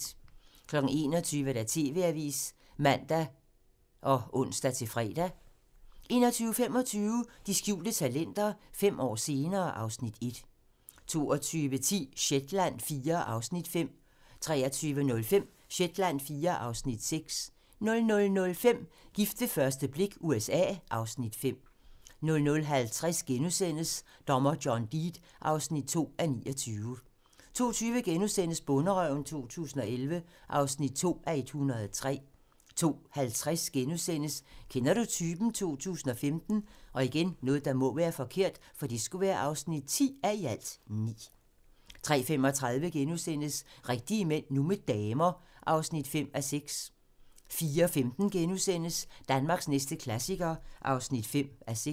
21:00: TV-avisen (man og ons-fre) 21:25: De skjulte talenter - fem år senere (Afs. 1) 22:10: Shetland IV (Afs. 5) 23:05: Shetland IV (Afs. 6) 00:05: Gift ved første blik - USA (Afs. 5) 00:50: Dommer John Deed (2:29)* 02:20: Bonderøven 2011 (2:103)* 02:50: Kender du typen? 2015 (10:9)* 03:35: Rigtige mænd - nu med damer (5:6)* 04:15: Danmarks næste klassiker (5:6)*